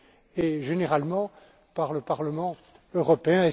et, généralement, par le Parlement européen.